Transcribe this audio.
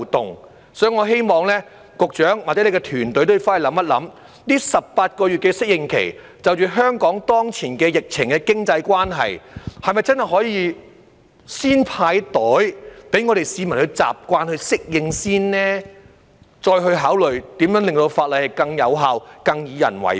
因此，我希望局長或你的團隊可以回去思考一下，在這18個月的適應期，因應香港當前疫情的經濟關係，是否真的可以先"派袋"，讓市民先習慣及適應，再考慮如何令法例更有效、更以人為本？